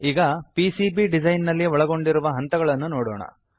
ಈಗ PCB design ನಲ್ಲಿ ಒಳಗೊಂಡಿರುವ ಹಂತಗಳನ್ನು ನೋಡೋಣ